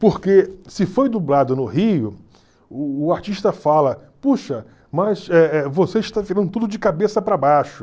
Porque se foi dublado no Rio, o artista fala, puxa, mas eh eh você está virando tudo de cabeça para baixo.